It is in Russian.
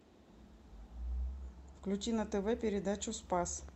включи на тв передачу спас